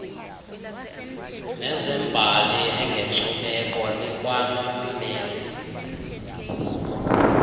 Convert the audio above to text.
nezembali engenkcubeko likwanommeli